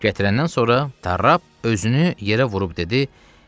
Gətirəndən sonra tarrap özünü yerə vurub dedi: